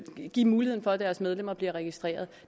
give mulighed for at deres medlemmer bliver registreret